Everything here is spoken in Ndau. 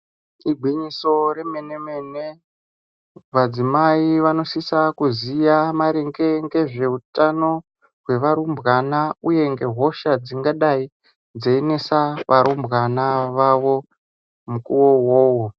Igwinyiso remene-mene, madzimai vanosisa kuziya maringe ngezveutano hwavarumbana, uye ngehosha dzingadai dzeinesa varumbwana vavo mukuvo uvovo.